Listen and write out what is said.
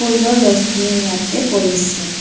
বসূৰ্য্যৰ ৰশ্মিও ইয়াতে পৰিছে।